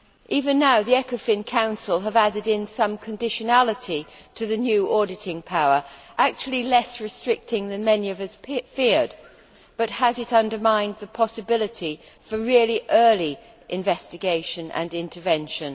Even now, the Ecofin Council has added in some conditionality to the new auditing power, actually less restricting than many of us feared, but has it undermined the possibility for really early investigation and intervention?